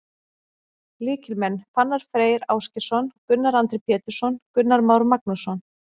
Lykilmenn: Fannar Freyr Ásgeirsson, Gunnar Andri Pétursson, Gunnar Már Magnússon.